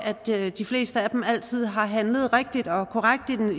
at de fleste af dem altid har handlet rigtigt og korrekt